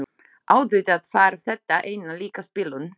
Auðvitað var þetta einna líkast bilun.